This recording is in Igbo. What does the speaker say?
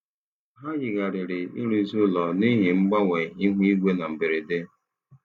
Ha yigharịrị ịrụzi ụlọ n'ihi mgbanwe ihu igwe na mberede.